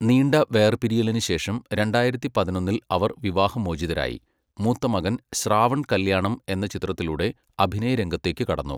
നീണ്ട വേർപിരിയലിന് ശേഷം രണ്ടായിരത്തി പതിനൊന്നിൽ അവർ വിവാഹമോചിതരായി. മൂത്തമകൻ ശ്രാവൺ കല്യാണം എന്ന ചിത്രത്തിലൂടെ അഭിനയരംഗത്തേക്ക് കടന്നു.